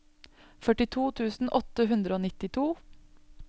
førtito tusen åtte hundre og nittito